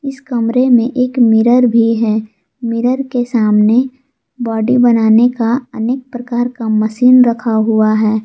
इस कमरे में एक मिरर भी है मिरर के सामने बॉडी बनाने का अनेक प्रकार का मशीन रखा हुआ है।